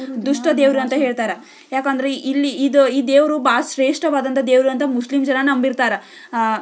ದುಷ್ಟ ದೇವರು ಅಂತ ಹೇಳ್ತಾರಾ ಯಾಕೇಂದ್ರ ಈ ಈ ದೇವರು ಬಹಳ ಶ್ರೇಷ್ಠವಾದ ದೇವರು ಅಂತ ಮುಸ್ಲಿಂ ಜನ ನಂಬಿರ್ತಾರ --